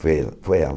Foi ela. Foi ela